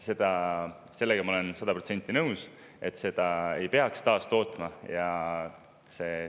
Ma olen sada protsenti nõus, et seda ei peaks taastootma.